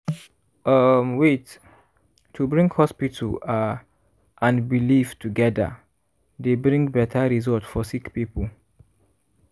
um wait- to bring hospital are and belief togeda dey bring beta result for sick poeple.